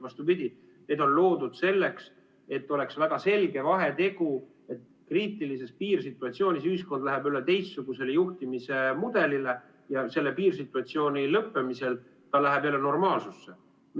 Vastupidi, need on loodud selleks, et oleks väga selge vahe, et kriitilises piirsituatsioonis ühiskond läheb üle teistsugusele juhtimise mudelile ja selle piirsituatsiooni lõppemisel ta läheb jälle normaalsesse.